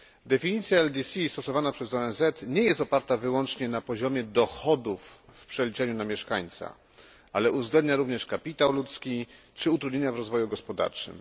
Definicja LDC stosowana przez ONZ nie jest oparta wyłącznie na poziomie dochodów w przeliczeniu na mieszkańca, ale uwzględnia również kapitał ludzki czy utrudnienia w rozwoju gospodarczym.